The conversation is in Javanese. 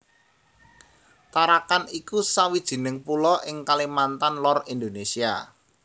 Tarakan iku sawijining pulo ing Kalimantan Lor Indonésia